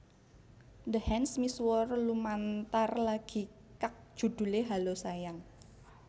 The Hands misuwur lumantar lagi kag judhulé Hallo Sayang